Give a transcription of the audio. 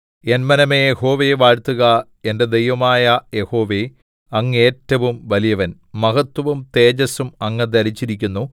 N മനമേ യഹോവയെ വാഴ്ത്തുക എന്റെ ദൈവമായ യഹോവേ അങ്ങ് ഏറ്റവും വലിയവൻ മഹത്വവും തേജസ്സും അങ്ങ് ധരിച്ചിരിക്കുന്നു